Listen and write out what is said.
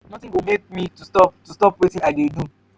nothing go make me to stop to stop wetin i dey do.